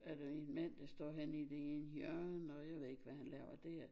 Er der en mand der står henne i det ene hjørne og jeg ved ikke hvad han laver dér